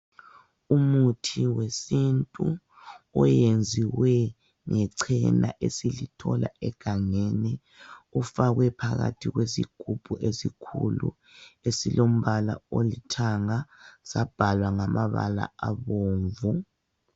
Umuthi wesintu oyenziwe ngechena esilithola egangeni ufakwe phakathi kwesigubhu esikhulu esilombala olithanga sabhalwa ngamabala abomvu.